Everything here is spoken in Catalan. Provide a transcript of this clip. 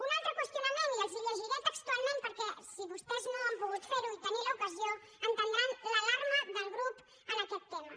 un altre qüestionament i els ho llegiré textualment perquè si vostès no ho han pogut fer ni n’han tingut l’ocasió entendran l’alarma del grup en aquest tema